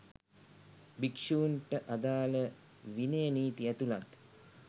භික්ෂූන්ට අදාළ විනය නීති ඇතුළත්